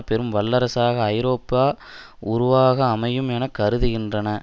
பெரும் வல்லரசாக ஐரோப்பா உருவாக அமையும் என கருதுகின்றன